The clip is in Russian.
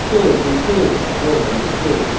стоит не стоит рома не стоит